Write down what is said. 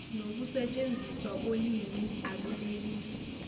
nokusetshenziswa kolimi akunelisi